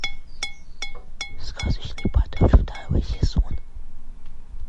сказочный патруль второй сезон